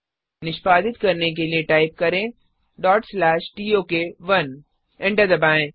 निष्पादित करने के लिए टाइप करें tok1 एंटर दबाएं